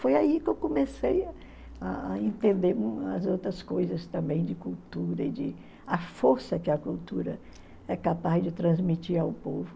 Foi aí que eu comecei a entender as outras coisas também de cultura e de a força que a cultura é capaz de transmitir ao povo.